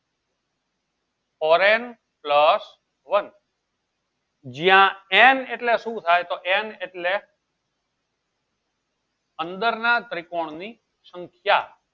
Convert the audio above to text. four n plus one જ્યાં n એટલે સુ થાય n એટલે અંદરના ત્રિકોણની સંખ્યા